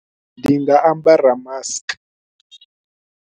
Ndi nga ambara mask.